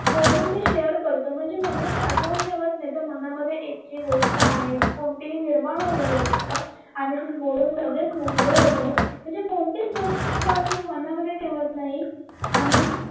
बोलून ते शेअर करतो म्हणजे मनात ते साठवत नाही मनामध्ये एक जी गोष्ट आहे कोणतीही निर्मळ वगेरे ती गोष्ट आम्ही बोलून मोकळे होतो म्हणजे आम्ही कोणतीच गोष्ट मनात ठेवत नाह आणि